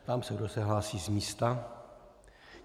Ptám se, kdo se hlásí z místa.